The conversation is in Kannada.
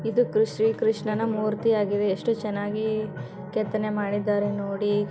ಇದು ಕ್ರಿಶ್ ಶ್ರೀ ಕೃಷ್ಣನ ಮೂರ್ತಿ ಆಗಿದೆ. ಎಷ್ಟು ಚೆನ್ನಾಗಿ ಕೆತ್ತನೆ ಮಾಡಿದರೆ ನೋಡಿ.